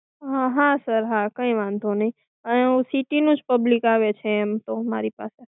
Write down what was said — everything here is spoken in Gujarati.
હા sir હા કઈ વાંધો નહિ અને હું city નું જ public આવે છે અહિયાં એમ તો મારી પાસે.